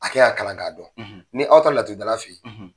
A ke y'a kalan ka dɔn . Ni aw taara laturudala fe yen